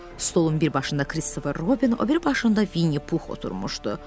Stolun bir başında Kristofer Robin, o biri başında Vinni Pux oturmuşdu.